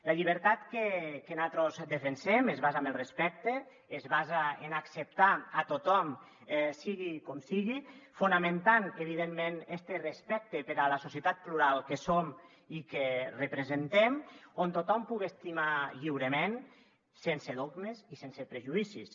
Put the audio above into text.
la llibertat que nosaltres defensem es basa en el respecte es basa en acceptar a tothom sigui com sigui fonamentant evidentment este respecte per la societat plu·ral que som i que representem on tothom puga estimar lliurement sense dogmes i sense prejudicis